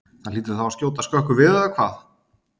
Það hlýtur þá að skjóta skökku við eða hvað?